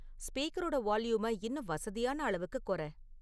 ஸ்பீக்கரோட வால்யூம இன்னும் வசதியான அளவுக்குக் குறை